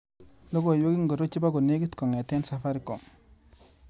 Logoiwek ingoro chebo konekit kong'ete Safaricom?